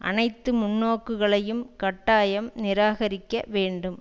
அனைத்து முன்னோக்குகளையும் கட்டாயம் நிராகரிக்க வேண்டும்